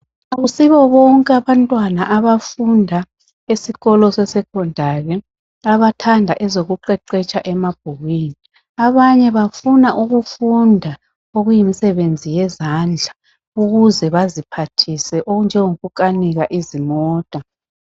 Akusibo bonke abantwana abafunda esikolo sesecondary abathanda ezokuqeqetsha emabhukwini abanye bafuna ukufunda okuyimisebenzi yezandla ukuze baziphathise okunjengoku kanika izimota.